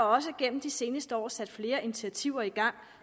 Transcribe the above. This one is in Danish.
også igennem de seneste år sat flere initiativer i gang